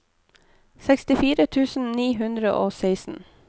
sekstifire tusen ni hundre og seksten